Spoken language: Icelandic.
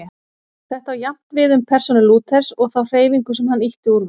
Þetta á jafnt við um persónu Lúthers og þá hreyfingu sem hann ýtti úr vör.